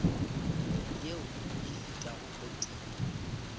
yeo e fetago o tee